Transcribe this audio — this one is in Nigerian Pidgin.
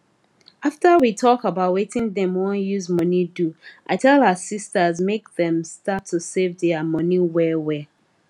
after we talk about wetin dem wan use monie do i tell her sistas make dem start to save dia monie well well